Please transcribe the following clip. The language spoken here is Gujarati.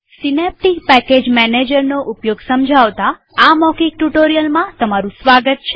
સીનેપ્ટીક પેકેજ મેનેજરનો ઉપયોગ સમજાવતા આ મૌખિક ટ્યુ્ટોરીઅલમાં સ્વાગત છે